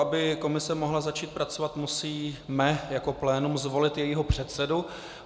Aby komise mohla začít pracovat, musíme jako plénum zvolit jejího předsedu.